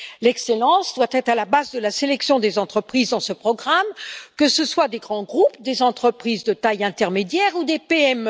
L'excellence doit être à la base de la sélection des entreprises dans ce programme, que ce soit des grands groupes, des entreprises de taille intermédiaire ou des PME.